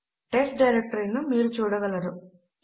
test directory ను మీరు చూడగలరు